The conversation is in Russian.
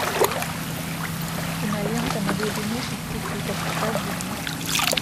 кинолента на глубине шести футов покажи мне